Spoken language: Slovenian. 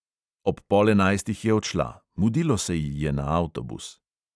Ob pol enajstih je odšla, mudilo se ji je na avtobus.